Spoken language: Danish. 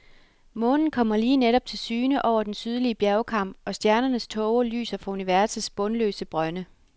Månen kommer lige netop til syne over den sydlige bjergkam, og stjernernes tåger lyser fra universets bundløse brønde.